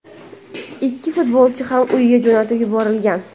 Ikki futbolchi ham uyiga jo‘natib yuborilgan.